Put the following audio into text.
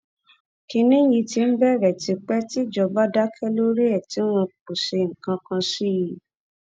kínní yìí ti ń rí bẹẹ tipẹ tí ìjọba dákẹ lórí ẹ ẹ tí wọn kò ṣe nǹkan kan sí i